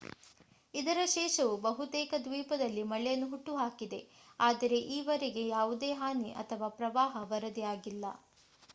ಇದರ ಶೇಷವು ಬಹುತೇಕ ದ್ವೀಪದಲ್ಲಿ ಮಳೆಯನ್ನು ಹುಟ್ಟುಹಾಕಿದೆ ಆದರೆ ಈವರೆಗೆ ಯಾವುದೇ ಹಾನಿ ಅಥವಾ ಪ್ರವಾಹ ವರದಿಯಾಗಿಲ್ಲ